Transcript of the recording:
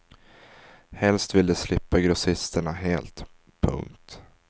Helst vill de slippa grossisterna helt. punkt